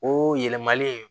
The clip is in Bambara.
O yɛlɛmali